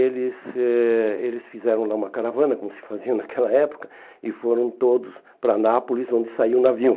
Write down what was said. E eles eh eles fizeram lá uma caravana, como se fazia naquela época, e foram todos para Nápoles, onde saiu o navio.